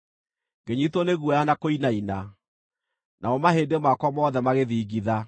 ngĩnyiitwo nĩ guoya na kũinaina, namo mahĩndĩ makwa mothe magĩthingitha.